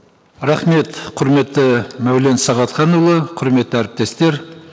рахмет құрметті мәулен сағатханұлы құрметті әріптестер